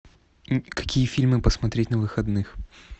какие фильмы посмотреть на выходных